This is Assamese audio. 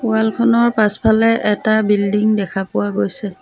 ৱাল খনৰ পাছফালে এটা বিল্ডিং দেখা পোৱা গৈছে।